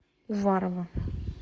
уварово